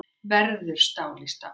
Verður stál í stál